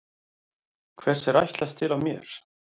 Hvers er ætlast til af mér?